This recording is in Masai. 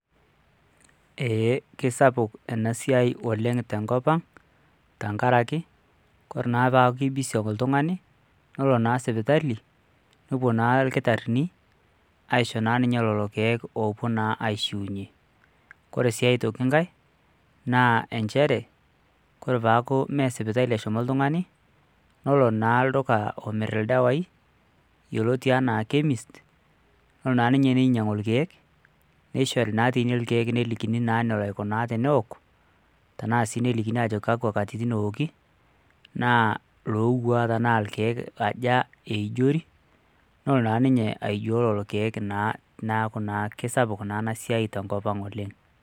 Ee kesapuk enasiai oleng tenkop ang' tankaraki, kore naa paaku ke busy ake oltung'ani, nolo naa sipitali, nopuo naa irkitaarrini, aisho naa ninye lolo keek opuo naa aishiunye. Kore si aitoki nkae, naa enjere, kore paaku mee sipitali eshomo oltung'ani, nolo naa lduka omir ildawai, yioloti enaa Chemist, nolo naa ninye ninyang'u irkeek, nishori naa tine irkeek nelikini naa nolo aikunaa teneok, tanaa si nelikini ajoki kakwa katitin ewoki, naa lowua tanaa irkeek aja eijori, nolo naa ninye aijoo lolo keek naa neeku naa kesapuk naa enasiai tenkop ang' oleng'.